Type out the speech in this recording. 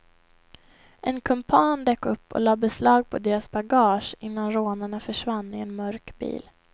En kumpan dök upp och la beslag på deras bagage, innan rånarna försvann i en mörk bil.